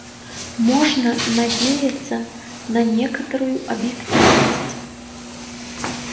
можно надеяться на некоторую объективность